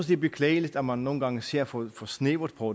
det er beklageligt at man nogle gange ser for snævert på